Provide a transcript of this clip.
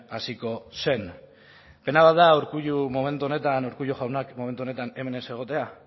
hasiko zen pena bat da momentu honetan urkullu jaunak momentu honetan hemen ez egotea